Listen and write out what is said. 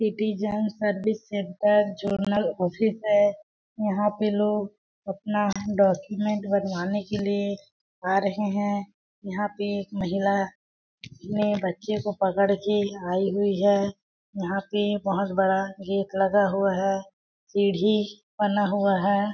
Citizen service centre zonal office है यहाँ पे लोग अपना डॉक्यूमेंट बनवाने के लिए आ रहे हैं यहां पे महिला ने बच्चे को पकड़ के आई हुई है यहाँ पे बहुत बड़ा गेट लगा हुआ है सीढ़ी बना हुआ है।